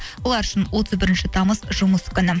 олар үшін отыз бірінші тамыз жұмыс күні